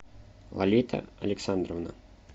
лолита александровна